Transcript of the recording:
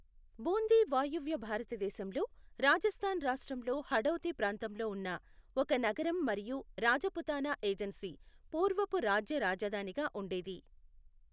బూందీ వాయువ్య భారతదేశంలో రాజస్థాన్ రాష్ట్రంలో హడౌతీ ప్రాంతంలో ఉన్న ఒక నగరం మరియు రాజపుతానా ఏజన్సీ పూర్వపు రాజ్య రాజధానిగా ఉండేది.